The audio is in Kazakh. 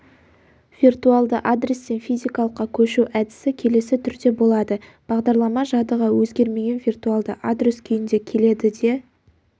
виртуалды адрестен физикалыққа көшу әдісі келесі түрде болады бағдарлама жадыға өзгермеген виртуалды адрес күйінде келеді де